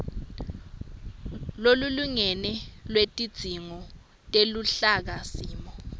lolulingene lwetidzingo teluhlakasimo